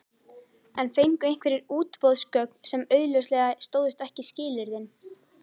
En fengu einhverjir útboðsgögn sem augljóslega stóðust ekki skilyrðin?